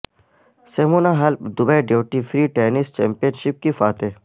Simona Halep Dubai duty free tennis championship کی فاتح